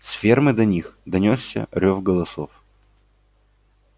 с фермы до них донёсся рёв голосов